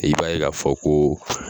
I b'a ye k'a fɔ ko